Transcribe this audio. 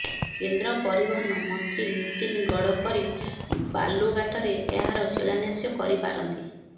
କେନ୍ଦ୍ର ପରିବହନ ମନ୍ତ୍ରୀ ନୀତିନ ଗଡକରୀ ବାଲୁଘାଟରେ ଏହାର ଶିଳାନ୍ୟାସ କରିପାରନ୍ତି